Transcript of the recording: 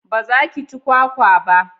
ba za ki ci kwakwa ba?